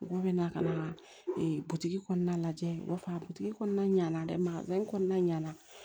Mɔgɔw bɛ na ka na e butigi kɔnɔna lajɛ u b'a fɔ a butigi kɔnɔna ɲana dɛ kɔnɔna ɲana